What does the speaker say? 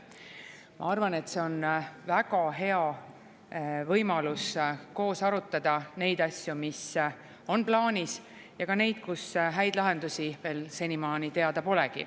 Ma arvan, et see on väga hea võimalus koos arutada neid asju, mis on plaanis, ja ka neid, kus häid lahendusi veel senimaani teada pole.